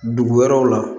Dugu wɛrɛw la